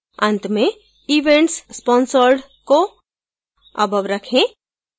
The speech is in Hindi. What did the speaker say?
अंत में events sponsored को above रखें